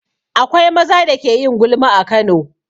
Akwai maza da ke yin gulma a Kano.